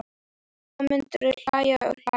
Og þá myndu þau hlæja og hlæja.